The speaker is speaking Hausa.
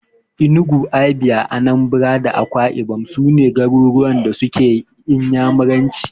Enugu, Abia, Anambra da Akwai ibom su ne garuruwan da suke Inyamuranci.